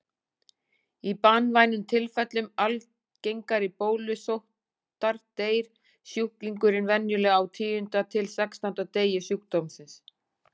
Í banvænum tilfellum algengari bólusóttar deyr sjúklingurinn venjulega á tíunda til sextánda degi sjúkdómsins.